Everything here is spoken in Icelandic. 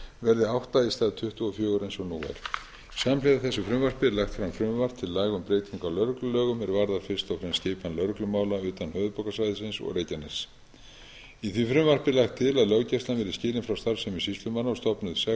verði átta í stað tuttugu og fjögur eins og nú er samhliða þessu frumvarpi er lagt fram frumvarp til laga um breytingu á lögreglulögum er varða fyrst og fremst skipan lögreglumála utan höfuðborgarsvæðisins og reykjaness í því frumvarpi er lagt til að löggæslan verði